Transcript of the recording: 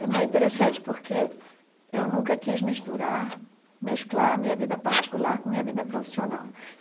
Também interessante porque eu nunca quis misturar, mesclar a minha vida particular com a minha vida profissional.